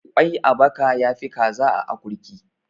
Kwai a baka ya fi Kaza a akurki.